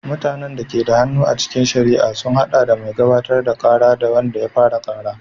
Mutanen da ke da hannu a cikin shari'a sun haɗa da mai gabatar da kara, wanda ya fara kara.